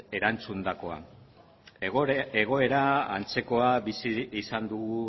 erantzundakoa egoera antzekoa bizi izan dugu